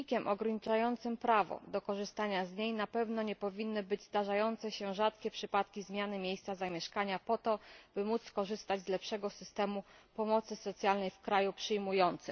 Czynnikiem ograniczającym prawo do korzystania z niej na pewno nie powinny być zdarzające się rzadkie przypadki zmiany miejsca zamieszkania po to, by móc skorzystać z lepszego systemu pomocy socjalnej w kraju przyjmującym.